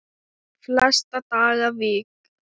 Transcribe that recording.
Flesta daga vik